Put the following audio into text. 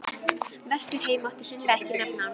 Ég má til með að segja frá giftingardeginum okkar.